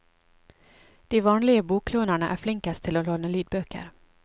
De vanlige boklånerne er flinkest til å låne lydbøker.